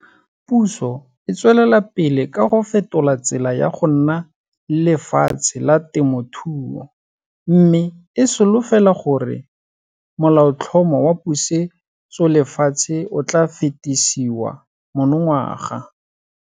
Puso e tswelela pele ka go fetola tsela ya go nna le lefatshe la temothuo mme e solofela gore Molaotlhomo wa Pusetsolefatshe o tla fetisiwa monongwaga.